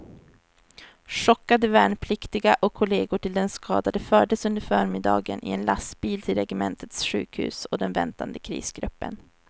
Chockade värnpliktiga och kollegor till den skadade fördes under förmiddagen i en lastbil till regementets sjukhus och den väntande krisgruppen.